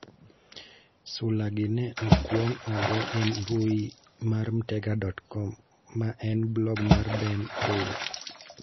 Sulagi ne okwong ogo e mbui mar Mtega.com, ma en blog mar Ben Taylor.